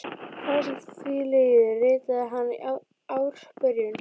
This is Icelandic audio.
Hvað sem því líður, ritaði hann í ársbyrjun